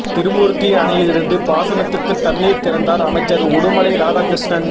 தி்ருமூர்த்தி அணையிலிருந்து பாசனத்துக்கு தண்ணீர் திறந்தார் அமைச்சர் உடுமலை ராதாகிருஷ்ணன்